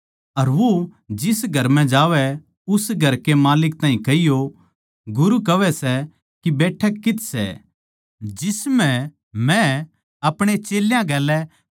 अर वो जिस घर म्ह जावै उस घर कै माल्लिक ताहीं कहियो गुरू कहवै सै के बैठक कित्त सै जिसम्ह म्ह आपणे चेल्यां गेल्या फसह भोज खाऊँ